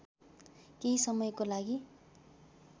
केही समयको लागि